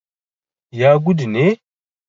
ya gudu ne